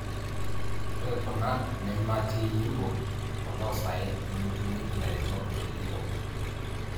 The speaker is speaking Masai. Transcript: ore kuna nematii Yimbo to loosaen nemetumi ilairemok le Yimbo